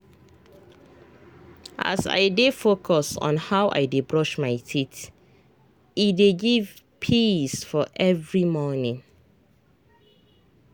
as i dey focus on how i dey brush my teethe dey give peace for every morning.